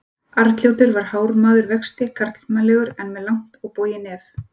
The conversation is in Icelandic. Arnljótur var hár maður vexti, karlmannlegur en með langt bogið nef.